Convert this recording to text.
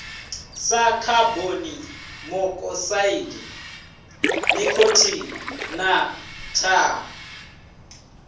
sa khabonimokosaidi nikhotini na thaa